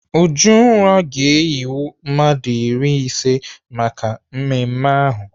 Ujunwa ga-eyiwe mmadụ narị ise maka mmemme ahụ.